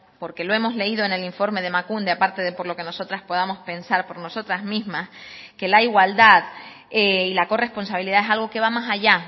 porque lo hemos leído en el informe de emakunde aparte de por lo que nosotras podamos pensar por nosotras mismas que la igualdad y la corresponsabilidad es algo que va más allá